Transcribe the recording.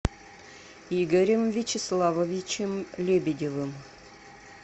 игорем вячеславовичем лебедевым